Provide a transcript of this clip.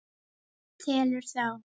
Telur þá.